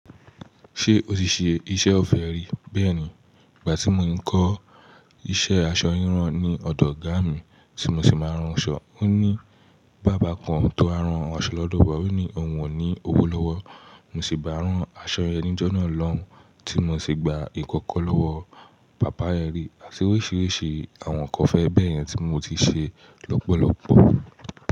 Ṣé o ti ṣe iṣẹ́ o fẹ́ rí bẹ́ẹ̀ ni? Ìgbà tí mo n kọ iṣẹ asọ rirán ní ọdọ ọgá mi tí mo sì máa n rànsọ́, ó ní baba kán tó wá rán aṣọ lọdọ wá òní ohùn o ni owó lọwọ. Mo sì bá rán aṣọ yen ni jọ́ náà lòún, tí mo sì gba ikankan lọ́wọ́ bàbá yen ri, àti oríṣìíríṣìí àwọn nǹkan ofẹ́ bẹ́ẹ̀ yẹn tí mo ti ṣe lọ́pọ̀lọ́pọ̀.